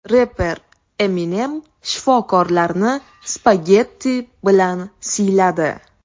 Reper Eminem shifokorlarni spagetti bilan siyladi.